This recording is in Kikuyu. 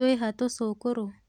Twĩha tũcũkũrũ?